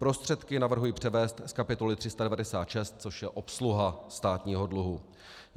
Prostředky navrhuji převést z kapitoly 396, což je Obsluha státního dluhu.